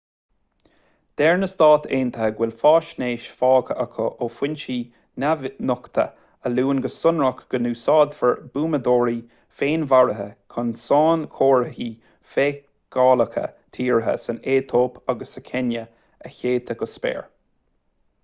deir na s.a. go bhfuil faisnéis faighte acu ó fhoinse neamhnochta a luann go sonrach go n-úsáidfear buamadóirí féinmharaithe chun sainchomharthaí feiceálacha tíre san aetóip agus sa chéinia a shéideadh go spéir